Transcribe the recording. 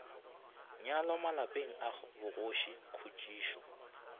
nyalwa malapeng a bogoši khutšišo